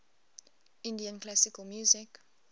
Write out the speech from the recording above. indian classical music